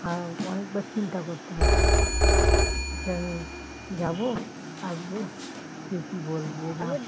অনেকবার চিন্তা করতে হয় যে আমি যাব থাকবো কে কি বলবে?